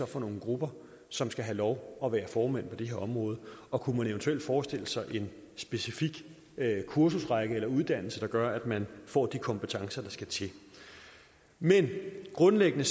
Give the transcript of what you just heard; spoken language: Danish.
for nogle grupper som skal have lov at være formænd på det her område og kunne man eventuelt forestille sig en specifik kursusrække eller uddannelse der gør at man får de kompetencer der skal til men grundlæggende